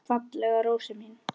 Fallega rósin mín.